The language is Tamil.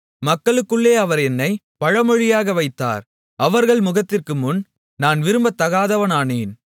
மக்களுக்குள்ளே அவர் என்னைப் பழமொழியாக வைத்தார் அவர்கள் முகத்திற்குமுன் நான் விரும்பத்தகாதவனானேன்